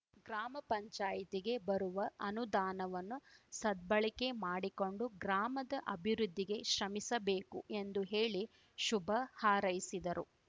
ಗ್ರಾಮ ಪಂಚಾಯತ್ ಗೆ ಬರುವ ಅನುದಾನವನ್ನು ಸದ್ಬಳಕೆ ಮಾಡಿಕೊಂಡು ಗ್ರಾಮದ ಅಭಿವೃದ್ಧಿಗೆ ಶ್ರಮಿಸಬೇಕು ಎಂದು ಹೇಳಿ ಶುಭ ಹಾರೈಸಿದರು